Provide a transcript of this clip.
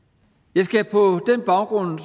jeg skal på den baggrund